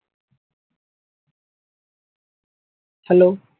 Hello